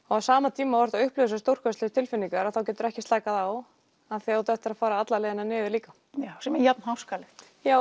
á sama tíma og þú upplifir þessar stórkostlegu tilfinningar geturðu ekki slakað á af því að þú átt eftir að fara alla leiðina niður líka sem er jafn háskalegt